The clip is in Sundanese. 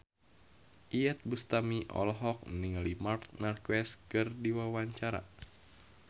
Iyeth Bustami olohok ningali Marc Marquez keur diwawancara